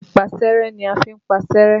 Ìpaṣẹ́rẹ́ ni a fi ń paṣẹ́ rẹ́.